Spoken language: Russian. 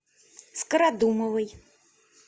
скородумовой